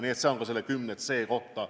See oli ka vastus selle 10c kohta.